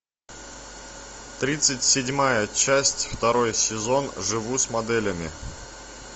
тридцать седьмая часть второй сезон живу с моделями